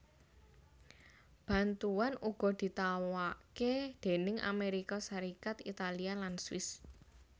Bantuan uga ditawakké déning Amérika Sarékat Italia lan Swiss